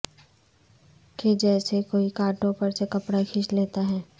کہ جیسے کوئی کانٹوں پر سے کپڑا کھینچ لیتا ہے